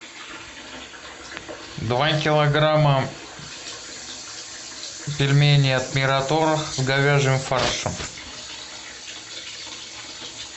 два килограмма пельменей от мираторг с говяжьим фаршем